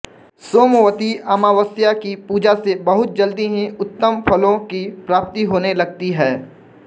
सोमवती अमावस्या की पूजा से बहुत जल्दी ही उत्तम फ़लों की प्राप्ति होने लगती है